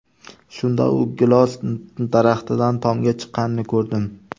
Shunda u gilos daraxtidan tomga chiqqanini ko‘rdim.